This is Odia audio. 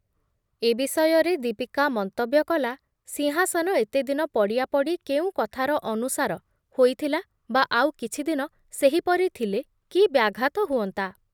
ଏ ବିଷୟରେ ଦୀପିକା ମନ୍ତବ୍ୟ କଲା, ସିଂହାସନ ଏତେଦିନ ପଡ଼ିଆ ପଡ଼ି କେଉଁ କଥାର ଅନୁସାର ହୋଇଥୁଲା ବା ଆଉ କିଛି ଦିନ ସେହିପରି ଥିଲେ କି ବ୍ୟାଘାତ ହୁଅନ୍ତା ।